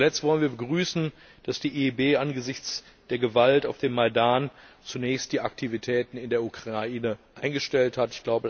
Zuletzt wollen wir begrüßen, dass die EIB angesichts der Gewalt auf dem Majdan zunächst die Aktivitäten in der Ukraine eingestellt hat.